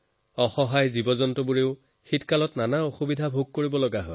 অসহায় জন্তুৰ বাবেও ঠাণ্ডাই বহুত বিপদ লৈ আহে